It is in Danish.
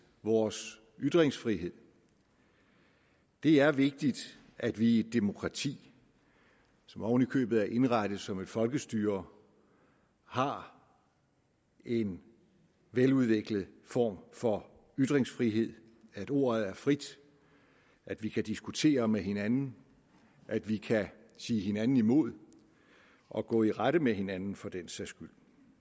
vores ytringsfrihed det er vigtigt at vi i et demokrati som oven i købet er indrettet som et folkestyre har en veludviklet form for ytringsfrihed at ordet er frit at vi kan diskutere med hinanden at vi kan sige hinanden imod og gå i rette med hinanden for den sags skyld